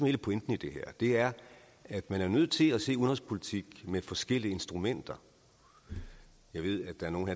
hele pointen i det her er at man er nødt til at gå til udenrigspolitik med forskellige instrumenter jeg ved at der er nogle